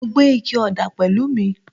Mo gbé ike ọ̀dà pẹ̀lú mi